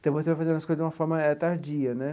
Então, você vai fazendo as coisas de uma forma tardia né.